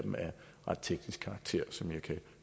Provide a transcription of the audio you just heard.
ret teknisk karakter som jeg kan